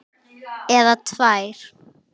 Eða tvær.